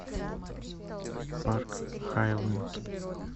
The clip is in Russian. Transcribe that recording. парк хайленд